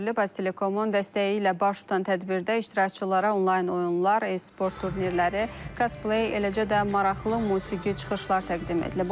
Aztelekomun dəstəyi ilə baş tutan tədbirdə iştirakçılara onlayn oyunlar, e-sport turnirləri, cosplay, eləcə də maraqlı musiqi çıxışlar təqdim edilib.